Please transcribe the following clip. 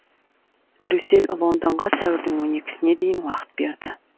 брюссель лондонға сәуірдің он екісіне дейін уақыт берді